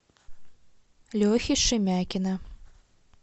лехи шемякина